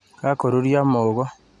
Kakoruryo muhogo.